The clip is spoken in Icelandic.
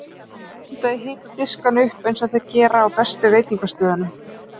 Mundu að hita diskana upp eins og þeir gera á bestu veitingastöðum.